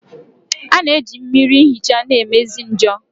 A na-eji mmiri nhicha na-emezi njor.